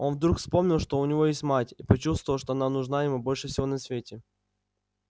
он вдруг вспомнил что у него есть мать и почувствовал что она нужна ему больше всего на свете